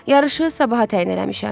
Yarışı sabaha təyin eləmişəm.